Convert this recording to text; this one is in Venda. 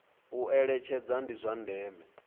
u eletshedza ndi zwa ndeme